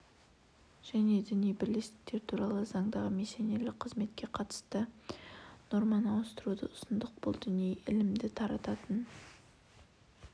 және діни бірлестіктер туралы заңдағы миссионерлік қызметке қатысты норманы ауыстыруды ұсындық бұл діни ілімді тарататын